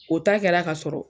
O ta kɛra kasɔrɔ